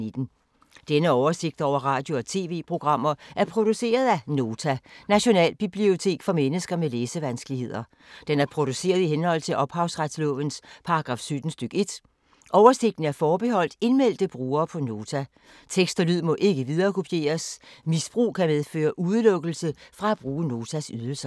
Denne oversigt over radio og TV-programmer er produceret af Nota, Nationalbibliotek for mennesker med læsevanskeligheder. Den er produceret i henhold til ophavsretslovens paragraf 17 stk. 1. Oversigten er forbeholdt indmeldte brugere på Nota. Tekst og lyd må ikke viderekopieres. Misbrug kan medføre udelukkelse fra at bruge Notas ydelser.